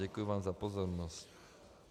Děkuji vám za pozornost.